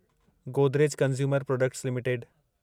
Godrej consumer products limited